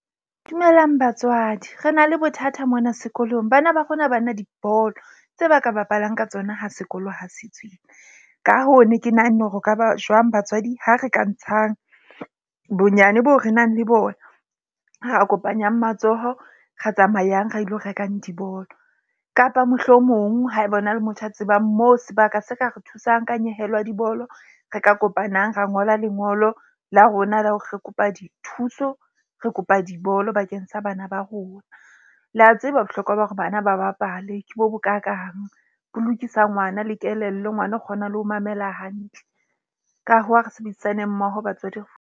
Dumelang batswadi. Re na le bothata mona sekolong. Bana ba rona ha ba na dibolo tse ba ka bapalang ka tsona ha sekolo ha se tswile. Ka hoo, ne ke nahanne hore ho kaba jwang batswadi ha re ka ntshang bonyane boo re nang le bona. Ra kopanyang matsoho ra tsamayang ra ilo rekang dibolo kapa mohlomong haeba hona le motho a tsebang moo sebaka se ka re thusang ka nyehelo ya dibolo, re ka kopanang ra ngola lengolo la rona la hore re kopa dithuso. Re kopa dibolo bakeng sa bana ba rona. Le a tseba bohlokwa ba hore bana ba bapale ke bo bokakang, bo lokisa ngwana le kelello. Ngwana o kgona le ho mamela hantle. Ka hoo, ha re sebedisaneng mmoho batswadi .